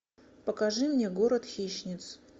покажи мне город хищниц